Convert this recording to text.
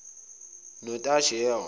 notajewa